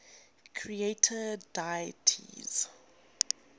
creator deities